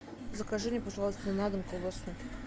закажи мне пожалуйста на дом колбасу